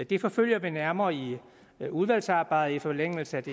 det forfølger vi nærmere i udvalgsarbejdet i forlængelse af